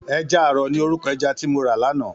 Èjà àrò ni órúkò èjà ti mó rá làná